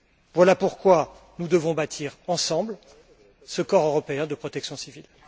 Voilà pourquoi nous devons bâtir ensemble ce corps européen de protection civile.